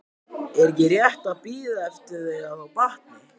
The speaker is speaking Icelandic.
Er ekki rétt að bíða eftir að þau batni?